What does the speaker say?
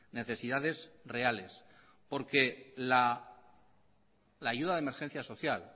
necesidades reales porque la ayuda de emergencia social